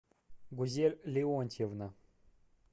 гузель леонтьевна